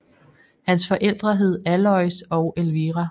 Hans forældre hed Alois og Elvira